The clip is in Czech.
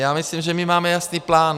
Já myslím, že my máme jasný plán.